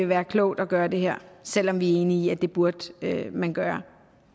være klogt at gøre det her selv om vi er enige i at det burde man gøre